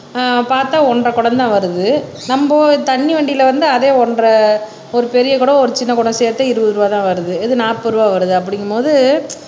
ஆஹ் பார்த்தா ஒன்றரை குடம் தான் வருது நம்ம தண்ணி வண்டில வந்து அதே ஒன்றரை ஒரு பெரிய குடம் ஒரு சின்ன குடம் சேர்த்து இருபது ரூபா தான் வருது இது நாற்பது ரூபாய் வருது அப்படிங்குபோது